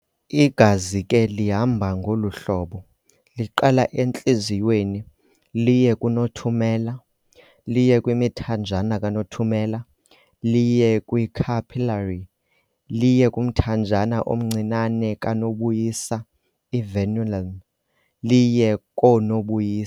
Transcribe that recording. Igazi ke lihamba ngolu hlobo- liqala entliziyweni liye kunothumela- liye kwimithanjana kanothumela liye kwi-capillary liye kumthanjana omncinane kanobuyisa i-venule liye koonobuyisa.